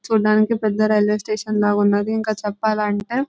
చూడడానికి పెద్ద railway station లాగా ఉన్నాది ఇంకా చెప్పాలంటే --